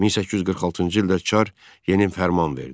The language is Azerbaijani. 1846-cı ildə Çar yeni fərman verdi.